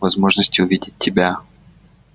возможности увидеть тебя